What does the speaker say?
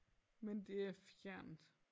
Men det er fjernt